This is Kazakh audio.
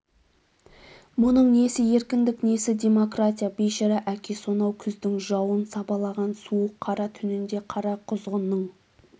мұның несі еркіндік несі демократия бейшара әке сонау күздің жауын сабалаған суық қара түнінде қара құзғынның